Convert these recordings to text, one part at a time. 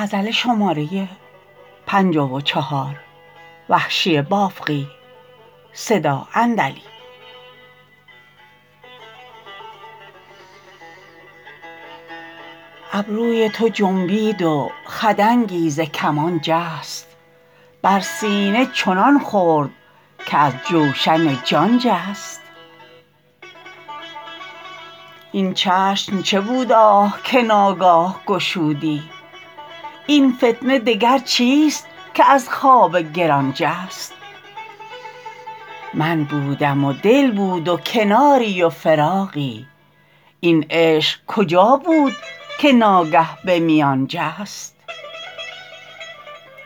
ابروی تو جنبید و خدنگی ز کمان جست بر سینه چنان خورد که از جوشن جان جست این چشم چه بود آه که ناگاه گشودی این فتنه دگر چیست که از خواب گران جست من بودم و دل بود و کناری و فراغی این عشق کجا بود که ناگه به میان جست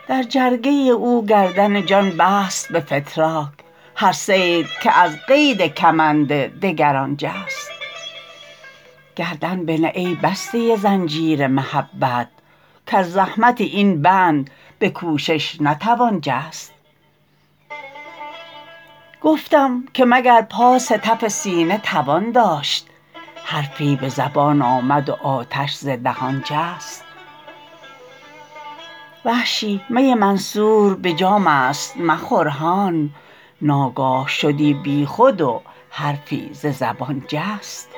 در جرگه او گردن جان بست به فتراک هر صید که از قید کمند دگران جست گردن بنه ای بسته زنجیر محبت کز زحمت این بند به کوشش نتوان جست گفتم که مگر پاس تف سینه توان داشت حرفی به زبان آمد و آتش ز دهان جست وحشی می منصور به جام است مخور هان ناگاه شدی بیخود و حرفی ز زبان جست